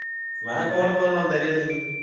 ਮੈਂ ਕਿਹਾ ਕੋਣ ਕੋਣ ਲਾਉਂਦੇ ਰਹੇ ਤੁਸੀਂ?